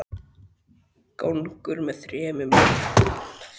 Gangur með þremur luktum dyrum tók við af eldhúsinu.